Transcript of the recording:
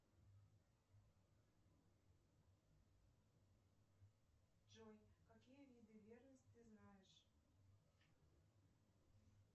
джой какие виды верности ты знаешь